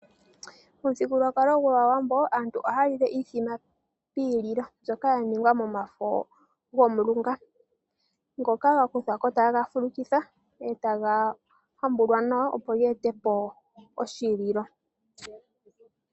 Momuthigululwakalo gwaawambo aantu ohaya lile iimbombo poshililo mbyoka ya ningwa momafo gomulunga. Ngoka ga kuthwako e taga fulukithwa, e taga hambulwa nawa opo ge etepo oshililo.